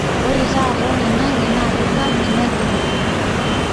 ore tata oloingange nakisafi negira.